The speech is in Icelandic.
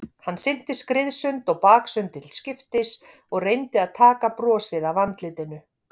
Hann synti skriðsund og baksund til skiptis og reyndi að taka brosið af andlitinu.